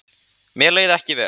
Mér leið ekki vel